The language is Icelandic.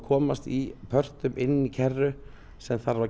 komast í pörtum inn í kerru sem þarf að